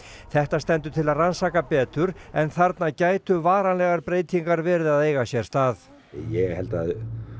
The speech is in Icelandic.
þetta stendur til að rannsaka betur en þarna gætu varanlegar breytingar verið að eiga sér stað ég held að